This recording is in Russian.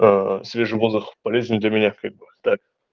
свежий воздух полезен для меня как бы так